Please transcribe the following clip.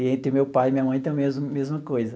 E entre meu pai e minha mãe tem a mes mesma coisa.